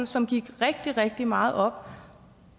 som gik rigtig rigtig meget op